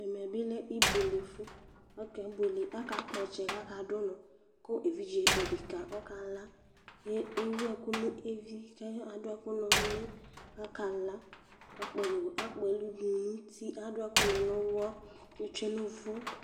Ɛmɛ bɩ lɛ ɩbʊelefʊ Aka kpɔtsɛ, jakadʊvʊnɔ keviɖze odeka ɔkala, ewu ɛku nevɩ ka dʊ ɛkʊ nulɩ jakala, kakpɛlʊ dʊ nʊti Adʊ ɛkʊ nibnuyɔ yetsue nnʊvʊ